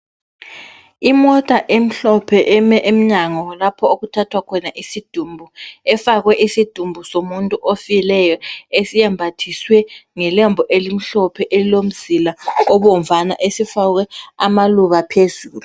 Imota emhlophe eme emnyango lapho okuthathwa khona isidumbu, efakwe isidumbu somuntu ofileyo esiyembathiswe ngelembu elimhlophe elilomzila obomvana esifakwe amaluba phezulu.